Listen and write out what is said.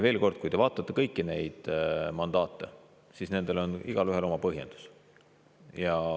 Veel kord, kui te vaatate kõiki neid mandaate, siis nendel on igaühel oma põhjendus.